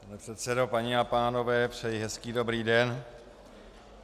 Pane předsedo, paní a pánové, přeji hezký dobrý den.